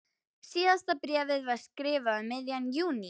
Síðasta bréfið var skrifað um miðjan júní.